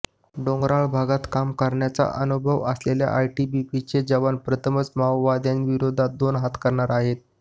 डोंगराळ भागात काम करण्याचा अनुभव असलेले आयटीबीपीचे जवान प्रथमच माओवाद्यांविरोधात दोन हात करणार आहेत